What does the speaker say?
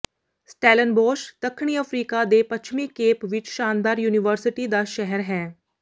Stellenbosch ਦੱਖਣੀ Africa ਦੇ ਪੱਛਮੀ ਕੇਪ ਵਿਚ ਸ਼ਾਨਦਾਰ ਯੂਨੀਵਰਸਿਟੀ ਦਾ ਸ਼ਹਿਰ ਹੈ